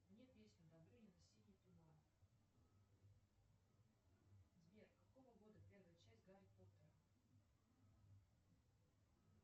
мне песню добрынина синий туман сбер какого года первая часть гарри поттера